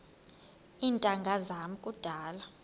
iintanga zam kudala